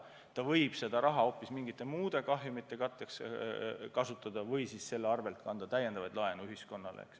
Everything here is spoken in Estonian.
Ta võib seda raha hoopis mingite muude kahjumite katteks kasutada või siis anda täiendavat laenu ühiskonnale.